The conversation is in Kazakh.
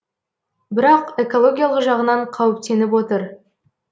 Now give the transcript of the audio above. бірақ экологиялық жағынан қауіптеніп отыр